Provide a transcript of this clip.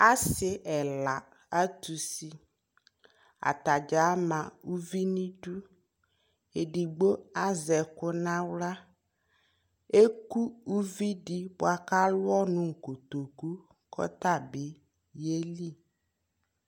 asii ɛla atʋ ʋsi atagya ama ʋvi nʋ idʋ, ɛdigbɔ azɛ ɛkʋ nʋ ala, ɛkʋ ʋvi di bʋakʋ alʋ ɔnʋ nʋ kɔtɔkʋ kʋ ɔtabi yɛli